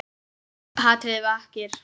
Hatrið vakir.